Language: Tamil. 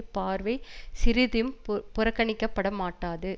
பார்வை சிறிதும் புறக்கணிக்கப்படக்கூடாது